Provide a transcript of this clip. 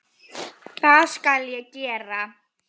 Það skal ég gera.